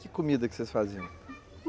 Que comida que vocês faziam?